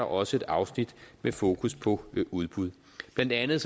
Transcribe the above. også et afsnit med fokus på udbud blandt andet